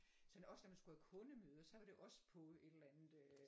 Sådan også når man skulle have kundemøde så var det også på et eller andet øh